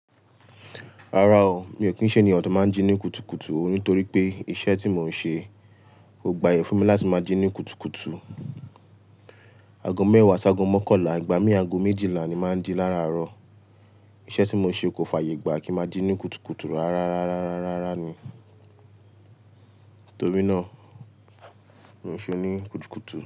Rárá o, mi ò kí n ṣe ènìyàn tó máa ń jí ní kùtùkùtù o nítorí pé iṣẹ́ tí mò ń ṣe kò gba aye fún mi láti máa jí ní kùtùkùtù. Ago mẹ́wàá sáàgọ́ mọ́kànlá, ìgbà mí ago méjìlá ni màá ń jí láàárọ̀. Iṣẹ́ tí mò ń ṣe kò fàyè gbà kí màá jí ní kùtùkùtù rárá, rárá, rárá, rárá ni. Nítorí náà, mi ò ṣe oní kùtùkùtù.